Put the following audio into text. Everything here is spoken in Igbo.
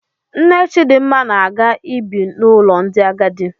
Nne Chidmma na-aga ibi n'ụlọ ndị agadi.